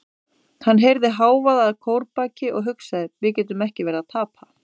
Hann heyrði hávaða að kórbaki og hugsaði: við getum ekki verið að tapa.